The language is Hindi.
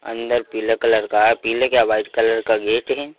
अंदर पीले कलर का है पीले क्या वाइट कलर का गेट है।